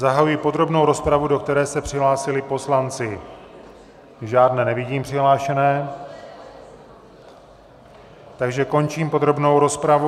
Zahajuji podrobnou rozpravu, do které se přihlásili poslanci - žádné nevidím přihlášené, takže končím podrobnou rozpravu.